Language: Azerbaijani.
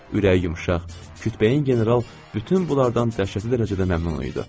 Ürəyi yumşaq, kütbeyin general bütün bunlardan dəhşətli dərəcədə məmnun idi.